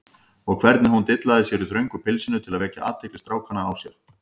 Og hvernig hún dillaði sér í þröngu pilsinu til að vekja athygli strákanna á sér!